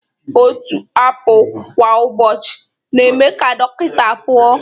Otu apụl kwa ụbọchị na-eme ka dọkịta pụọ